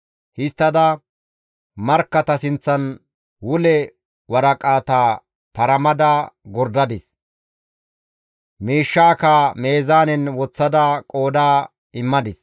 Histtada markkata sinththan wule waraqata paramada gordadis; miishshaakka meezaanen woththada qooda immadis.